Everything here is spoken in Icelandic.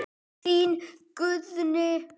Þín Guðný.